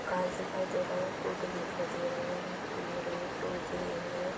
घास दिखाई दे रहा है पोंधे दिखाई दे रहे है| पेड़ है पौधे है ।